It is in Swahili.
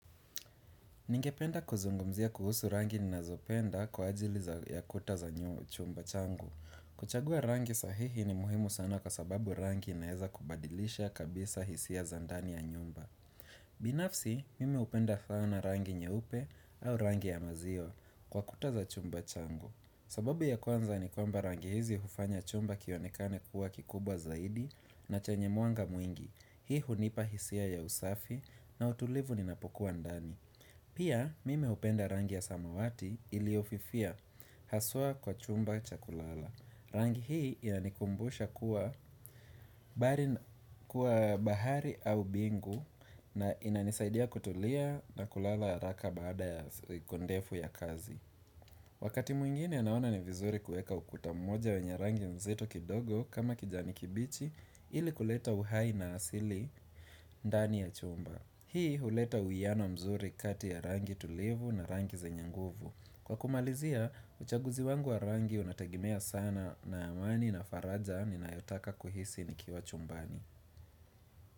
Ningependa kuzungumzia kuhusu rangi ninazopenda kwa ajili ya kuta za chumba changu. Kuchagua rangi sahihi ni muhimu sana kwa sababu rangi inaeza kubadilisha kabisa hisia za ndani ya nyumba. Binafsi, mimi hupenda sana rangi nyeupe au rangi ya maziwa kwa kuta za chumba changu. Sababu ya kwanza ni kwamba rangi hizi hufanya chumba kionekane kuwa kikubwa zaidi na chenye mwanga mwingi. Hii hunipa hisia ya usafi na utulivu ninapokuwa ndani. Pia mimi hupenda rangi ya samawati iliyofifia haswa kwa chumba cha kulala. Rangi hii inanikumbusha kuwa bahari au mbingu na inanisaidia kutulia na kulala haraka baada ya siku ndefu ya kazi. Wakati mwingine naona ni vizuri kuweka ukuta mmoja wenye rangi nzito kidogo kama kijani kibichi ili kuleta uhai na asili ndani ya chumba. Hii huleta uwiano mzuri kati ya rangi tulivu na rangi zenye nguvu. Kwa kumalizia, uchaguzi wangu wa rangi unategemea sana na amani na faraja ninayotaka kuhisi nikiwa chumbani.